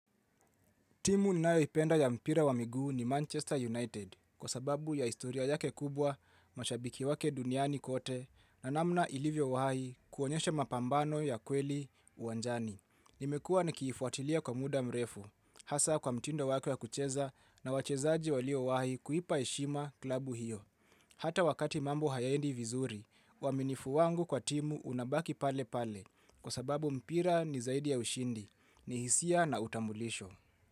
Timu ninayoipenda ya mpira wa miguu ni Manchester United kwa sababu ya historia yake kubwa, mashabiki wake duniani kote na namna ilivyowahai kuonyesha mapambano ya kweli uwanjani. Nimekua nikifuatilia kwa muda mrefu, hasa kwa mtindo wako ya kucheza na wachezaji waliowahi kuipa heshima klabu hiyo. Hata wakati mambo hayaendi vizuri, uaminifu wangu kwa timu unabaki pale pale kwa sababu mpira ni zaidi ya ushindi, ni hisia na utambulisho.